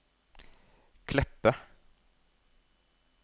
Kleppe